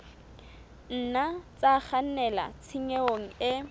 nna tsa kgannela tshenyong e